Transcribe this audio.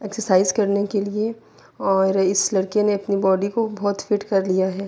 ےشےڑچِثے کرنے کے لئے اور اس لڑکے نے اپنی باڈی کو بہت فٹ کر لیا ہے۔